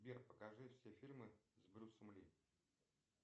сбер покажи все фильмы с брюсом ли